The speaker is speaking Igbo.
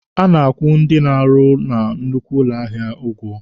A na-akwụ ndị na-arụ na nnukwu ụlọ ahịa ụgwọ.